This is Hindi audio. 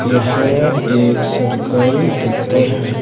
यह एक सरकारी दफ़्तर है।